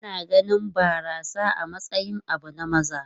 Ana ganin barasa a matsayin abu na maza.